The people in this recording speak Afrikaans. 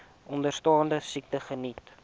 onderstaande siektes geniet